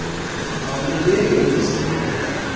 akulubeki ngozini ingako